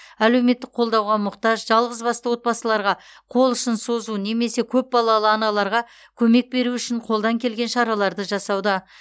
әлеуметтік қолдауға мұқтаж жалғызбасты отбасыларға қол ұшын созу немесе көпбалалы аналарға көмек беру үшін қолдан келген шараларды жасауда